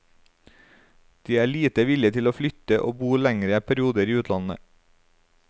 De er lite villige til å flytte og bo lengre perioder i utlandet.